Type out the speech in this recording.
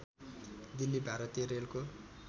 दिल्ली भारतीय रेलको